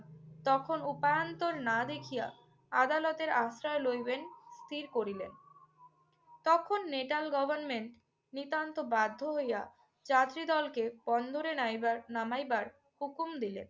তখন উপান্তর না দেখিয়া আদালতের আশ্রয় লইবেন স্থির করিলেন। তখন নেটাল গভর্নমেন্ট নিতান্ত বাধ্য হইয়া যাত্রীদলকে বন্দরে নেইবার~ নামাইবার হুকুম দিলেন।